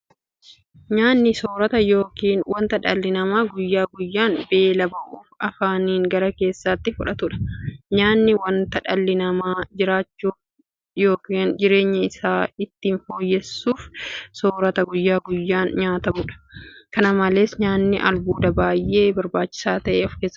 Nyaanni soorata yookiin wanta dhalli namaa guyyaa guyyaan beela ba'uuf afaaniin gara keessaatti fudhatudha. Nyaanni wanta dhalli namaa jiraachuuf yookiin jireenya isaa itti fufsiisuuf soorata guyyaa guyyaan nyaatamudha. Kana malees nyaanni albuuda baay'ee barbaachisaa ta'e kan ofkeessaa qabudha.